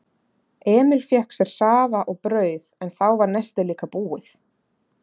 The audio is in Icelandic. Emil fékk sér safa og brauð en þá var nestið líka búið.